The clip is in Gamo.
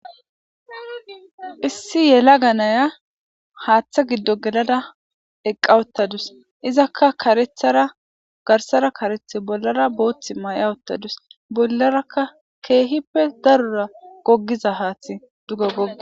Issi yelaga naya haththa giddo gelada eqqa uthadasu izaka garssara kareta bollara boththiyo Bollaraka kehippe darora gogida haththi